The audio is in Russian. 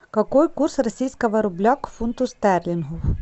какой курс российского рубля к фунту стерлингов